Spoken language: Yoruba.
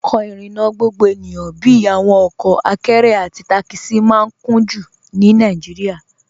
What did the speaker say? Ọkọ irinna gbogbo ènìyàn bíi awọn ọkọ àkẹ̀rẹ̀ àti takisi maa n kùn-jú ní Nàìjíríà.